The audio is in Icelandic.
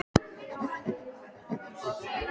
Sólveig: Ertu bjartsýnn?